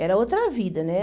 Era outra vida, né?